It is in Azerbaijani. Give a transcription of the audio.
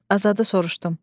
Azadı soruşdum.